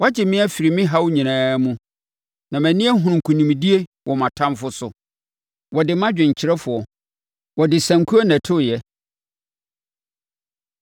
Woagye me afiri me haw nyinaa mu, na mʼani ahunu nkonimdie wɔ mʼatamfoɔ so. Wɔde ma dwomkyerɛfoɔ. Wɔde sankuo na ɛtoeɛ.